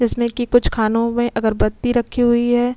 जिसमें की कुछ खानों में अगरबत्ती रखी हुई है।